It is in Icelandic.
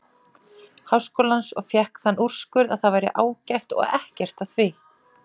Háskólans, og fékk þann úrskurð að það væri ágætt og ekkert að því.